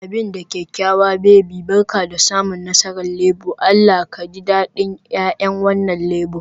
Abin da kyakkyawa baby, Barka da samun nasarar Labour, Allah ka ji dadin 'ya'yan wannan Labour